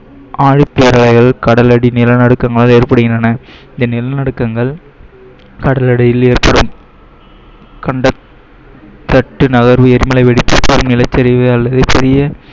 ஆழிப் பேரலையால் கடலடி நிலநடுக்கங்கள் ஏற்படுகின்றன, இந்த நிலநடுக்கங்கள் கடலடியில் ஏற்படும் தட்டு நகர்வு